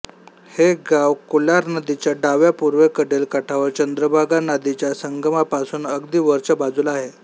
हे गाव कोलार नदीच्या डाव्या पूर्वेकडील काठावर चंद्रभागा नादीच्या संगमापासून अगदी वरच्या बाजूला आहे